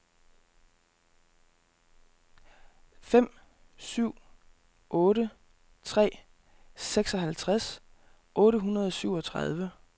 fem syv otte tre seksoghalvtreds otte hundrede og syvogtredive